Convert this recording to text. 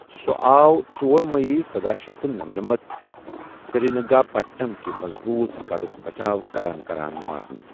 سُہ آو ژۄر مئی سَداہ شیتھ تہٕ نمَنَمتَ سرینگا پٹم کہِ مضبوُت گھڑھٗك بچاو كران كران مارنہٕ ۔